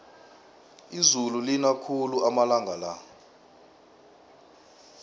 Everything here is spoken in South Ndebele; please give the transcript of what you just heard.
izulu lina khulu amalanga la